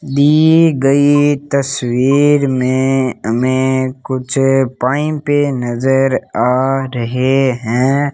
दी गई तस्वीर में हमें कुछ पाइपे नजर आ रहे है।